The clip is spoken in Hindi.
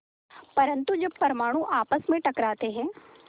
परन्तु जब दो परमाणु आपस में टकराते हैं